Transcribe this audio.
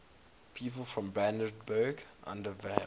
people from brandenburg an der havel